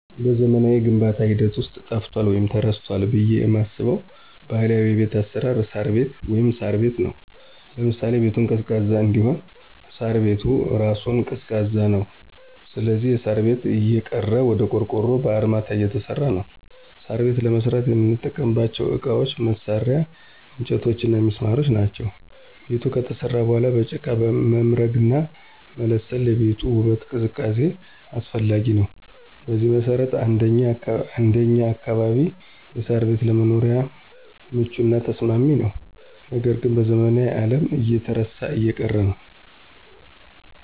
በዘመናዊው የግንባታ ሂደት ውስጥ ጠፍቷል ወይም ተረስቷል ብለው የማስበው ባህላዊ የቤት አሰራር እሳር ቤት(ሳር ቤት) ነው። ለምሳሌ -ቤቱን ቀዝቃዛ እንዲሆን እሳሩ ቤት እራሱ ቀዝቃዛ ነው ስለዚህ የሳር ቤት እየቀረ ወደ ቆርቆሮና በአርማታ እየተሰራ ነው። ሳር ቤት ለመስራት የምንጠቀምባቸው እቃዎች፣ መሳርያ፣ እንጨቶችና ሚስማሮች ናቸው። ቤቱ ከተሰራ በኋላ በጭቃ መምረግና መለሰን ለቤቱ ውበትና ቅዝቃዜ አስፈላጊ ነው። በዚህ መሰረት እንደኛ አካባቢ የሳር ቤት ለመኖሪያም ምቹና ተስማሚ ነው ነገር ግን በዘመናዊው አለም እየተረሳና እየቀረ ነው።